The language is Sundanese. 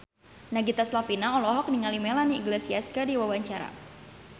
Nagita Slavina olohok ningali Melanie Iglesias keur diwawancara